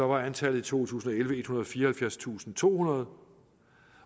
var antallet i to tusind og elleve ethundrede og fireoghalvfjerdstusindtohundrede